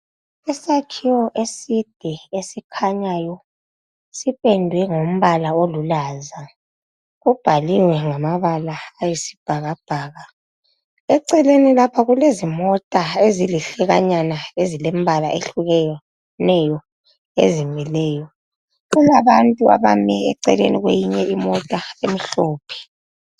Isakhiwo eside esikhanyayo sipendwe ngombala olulaza kubhaliwe ngamabala ayisibhakabhaka eceleni lapha kulezimota ezilihlekanyana ezilembala eyehlukeneyo ezimileyo kulabantu abame eceleni kweyinye imota emhlophe